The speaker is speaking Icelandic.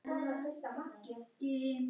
Það tekur bara sinn tíma.